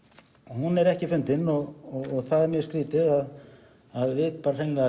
hún er ekki fundin og það er mjög skrýtið að við bara hreinlega